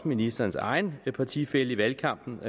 ministerens egen partifælle i valgkampen